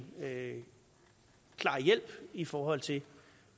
klar hjælp i forhold til